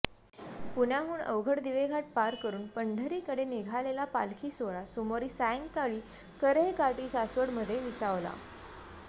पुण्याहून अवघड दिवेघाट पार करून पंढरीकडे निघालेला पालखी सोहळा सोमवारी सायंकाळी कऱ्हेकाठी सासवडमध्ये विसावला